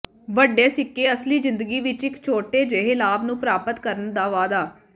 ਵੱਡੇ ਸਿੱਕੇ ਅਸਲੀ ਜ਼ਿੰਦਗੀ ਵਿੱਚ ਇੱਕ ਛੋਟੇ ਜਿਹੇ ਲਾਭ ਨੂੰ ਪ੍ਰਾਪਤ ਕਰਨ ਦਾ ਵਾਅਦਾ